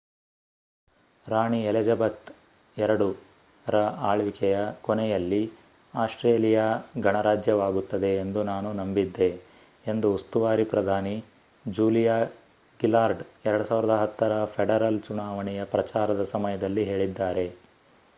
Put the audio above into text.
ರಾಣಿ Elizabeth ii ರ ಆಳ್ವಿಕೆಯ ಕೊನೆಯಲ್ಲಿ ಆಸ್ಟ್ರೇಲಿಯಾ ಗಣರಾಜ್ಯವಾಗುತ್ತದೆ ಎಂದು ನಾನು ನಂಬಿದ್ದೆ ಎಂದು ಉಸ್ತುವಾರಿ ಪ್ರಧಾನಿ ಜೂಲಿಯಾ ಗಿಲ್ಲಾರ್ಡ್ 2010 ರ ಫೆಡರಲ್ ಚುನಾವಣೆಯ ಪ್ರಚಾರದ ಸಮಯದಲ್ಲಿ ಹೇಳಿದ್ದಾರೆ